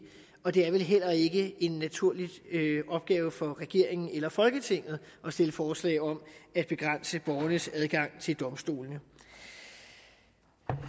og det er vel heller ikke en naturlig opgave for regeringen eller folketinget at stille forslag om at begrænse borgernes adgang til domstolene